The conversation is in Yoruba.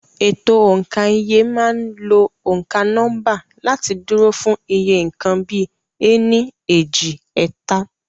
Ètò òǹkà iye máa ń lo òǹkà nọ́mbà láti dúró fún iye nǹkan bíi "ení, èjì, ẹ̀ta".